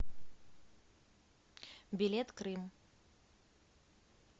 билет крым